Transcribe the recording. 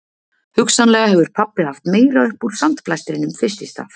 Hugsanlega hefur pabbi haft meira upp úr sandblæstrinum fyrst í stað